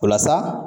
Walasa